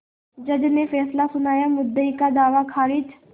जज ने फैसला सुनायामुद्दई का दावा खारिज